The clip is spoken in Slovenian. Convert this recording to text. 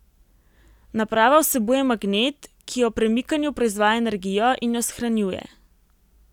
Naprava vsebuje magnet, ki ob premikanju proizvaja energijo in jo shranjuje.